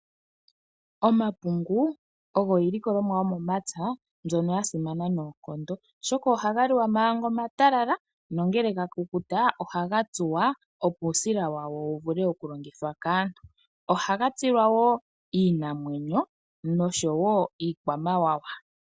Omapungu ogo iilikolomwa yomomapya mbyono ya simana noonkondo, oshoka ohaga liwa manga omatalala nongele ga kukuta oga tsuwa, opo uusila wago wu vule okulongithwa kaantu. Ohaga tsilwa wo iinamwenyo noshowo iikwamawawa.